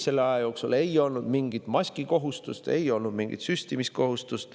Selle aja jooksul ei olnud mingit maskikohustust, ei olnud mingit süstimiskohustust.